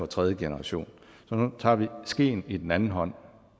tredje generation så nu tager vi skeen i den anden hånd